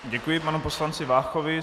Děkuji panu poslanci Váchovi.